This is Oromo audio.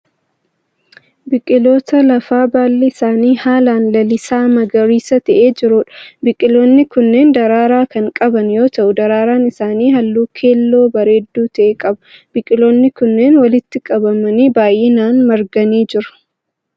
Biqiloota lafaa baalli isaanii haalaan lalisaa magariisa ta'ee jiruudha. Biqiloonni kunneen daraaraa kan qaban yoo ta'u daraaraan isaanii halluu keelloo bareedduu ta'e qaba. Biqiloonni kunneen walitti gobbatanii baayinaan marganii jiru.